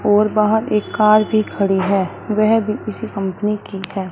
और बाहर एक कार भी खड़ी है वह भी किसी कंपनी की है।